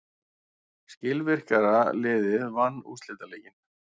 Skilvirkara liðið vann úrslitaleikinn.